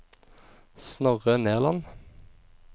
Snorre Nerland